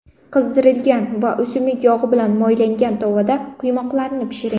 Qizdirilgan va o‘simlik yog‘i bilan moylangan tovada quymoqlarni pishiring.